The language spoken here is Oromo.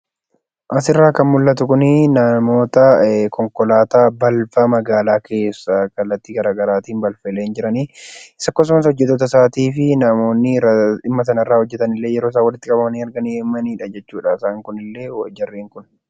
Asirraa kan mul'atu kun, namoota konkolaataa balfa magaalaa keessaa kallattii garaagaraatiin balfoolee jiran akkasumas hojjetattoota fi namoonni dhimma kana irra hojjetan yeroo isaan walitti qabamanidha jechuudha.